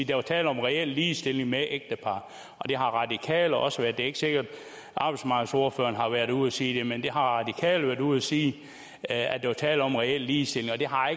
der var tale om en reel ligestilling med ægtepar og det har radikale også sagt det er ikke sikkert at arbejdsmarkedsordføreren har været ude at sige det men radikale har været ude at sige at der var tale om en reel ligestilling og det har